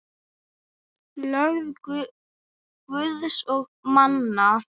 Lög Guðs og manna.